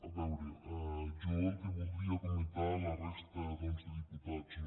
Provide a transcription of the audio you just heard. a veure jo el que voldria comentar a la resta de diputats no